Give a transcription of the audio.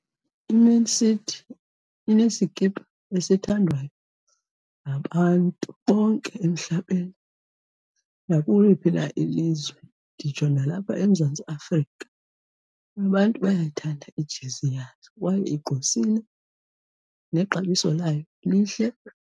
IMan City inesikipa esithandwayo ngabantu bonke emhlabeni, nakuliphi na ilizwe. Nditsho nalapha eMzantsi Afrika abantu bayayithanda ijezi yayo kwaye igqwesile, nexabiso layo lihle.